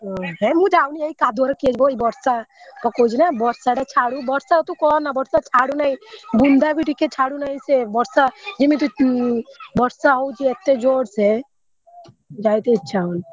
ହି ମୁ ଯାଉନି ଏଇ କାଦୁଅ ରେ କିଏ ଜୀବ ଏଇ ବର୍ଷା ପକଉଛି ନା ବର୍ଷା ଟା ଛାଡୁ ବର୍ଷା ତୁ କହନା ବର୍ଷା ଛାଡୁନାହିଁ ବୁନ୍ଦା ବି ଟିକେ ଛାଡୁନାହିଁ ସେ ବର୍ଷା ଯେମିତି ବର୍ଷା ହଉଛି ଏତେ ଜୋରସେ ଯାଇତେ ଇଚା ହଉନି।